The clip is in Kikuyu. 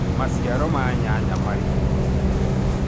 maciaro ma nyanya mari ugunĩ kĩũgima